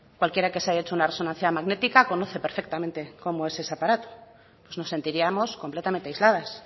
cualquiera que se haya hecho una resonancia magnética conoce perfectamente cómo es ese aparato pues nos sentiríamos completamente aisladas